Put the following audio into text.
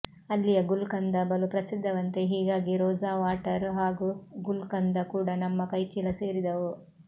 ಅಲ್ಲಿಯ ಗುಲ್ ಕಂದ ಬಲು ಪ್ರಸಿದ್ಧವಂತೆ ಹೀಗಾಗಿ ರೋಜವಾಟರ್ ಹಾಗೂ ಗುಲ್ ಕಂದ ಕೂಡ ನಮ್ಮ ಕೈಚೀಲ ಸೇರಿದವು